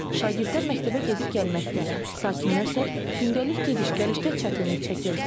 Şagirdlər məktəbə gedib gəlməkdə, sakinlər isə gündəlik gediş-gəlişdə çətinlik çəkir.